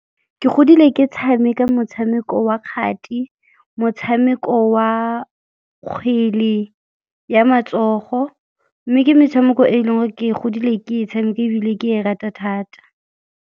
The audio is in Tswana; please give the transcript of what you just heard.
Ke godile ke tshameka motshameko wa kgati, motshameko wa kgwele ya matsogo mme ke metshameko e e leng gore ke godile ke e tshameka ebile ke e rata thata.